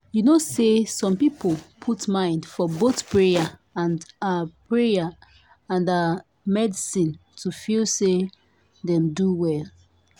you know say some people put mind for both prayer and ah prayer and ah medicine to feel say dem don well.